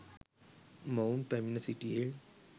මොවුන් පැමිණ සිටියේ